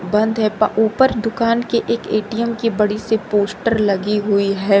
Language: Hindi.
बंद है ऊपर दुकान के एक ए_टी_एम की बड़ी सी पोस्टर लगी हुई है।